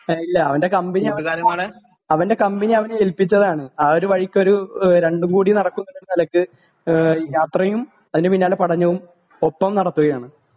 ഇല്ല അവന്റെ കമ്പനി അവന്റെ കമ്പനി അവനെ എൽപ്പിച്ചതാണ് ആ ഒരു വഴിക്ക് ഒരു രണ്ടും കൂടി നടക്കും എന്നുള്ള നിലയ്ക്ക് യാത്രയും അതിന്റെ പിന്നാലെ പഠനവും ഒപ്പം നടത്തുകയാണ്